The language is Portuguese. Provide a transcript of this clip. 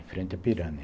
Em frente à Pirani.